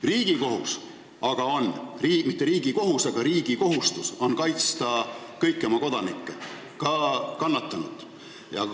Riigi kohustus on aga kaitsta kõiki oma kodanikke, ka kannatanuid.